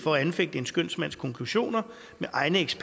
ønsker vi